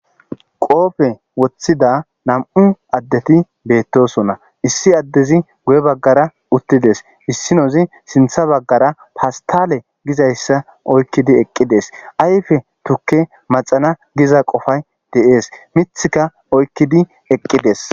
Qoobe wothida nam'u addeti beetosona; issi addezi guye baggara uttides; issinozi sinththe baggara pastale gizayssa oykkidi eqqides; ayfe tukke maxana giza qofay de'es miththika oykkidi ekkides.